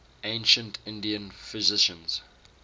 ancient indian physicians